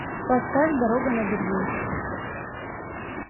поставь дорога на берлин